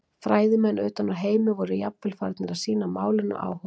Fræðimenn utan úr heimi voru jafnvel farnir að sýna málinu áhuga.